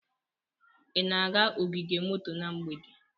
Ị na-aga ogige moto na mgbede?